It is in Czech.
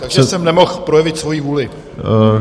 Takže jsem nemohl projevit svoji vůli.